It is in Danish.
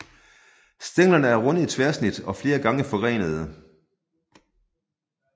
Stænglerne er runde i tværsnit og flere gange forgrenede